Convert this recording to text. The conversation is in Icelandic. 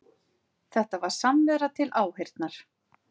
Þetta var samvera til áheyrnar